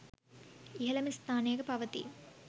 ඉහළම ස්ථානයක පවතී.